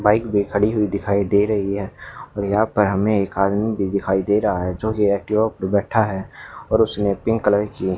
bike भी खड़ी हुई दिखाई दे रही है और यहां पर हमें एक आदमी भी दिखाई दे रहा है जो की एक्टिवा पर बैठा है और उसने पिंक कलर की --